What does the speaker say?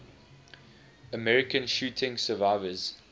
american shooting survivors